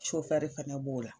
fɛnɛ b'o la